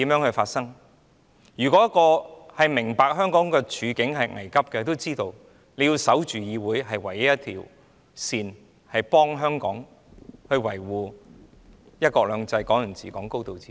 那些明白香港處境危急的人，知道要守着議會，這是唯一的防線，可以維護香港的"一國兩制"、"港人治港"和"高度自治"。